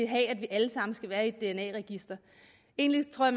have at vi alle sammen skal være i et dna register egentlig tror